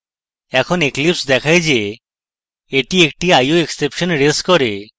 এখন eclipse দেখায় যে এটি একটি ioexception রেজ করবে